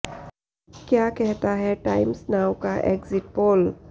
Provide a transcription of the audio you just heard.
क्या कहता है टाइम्स नाउ का एग्जिट पोल